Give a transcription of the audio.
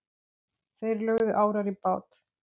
Þeir lögðu árar í bát.